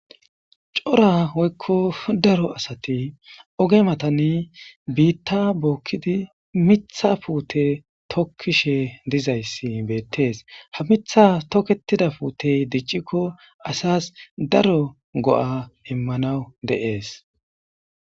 cora oykko daro asati oge matani biitta bookkidi mitha puute tokkishe dizayssi beettees ha mitha toketida puutey diccikko asas daro go7a immanawu deees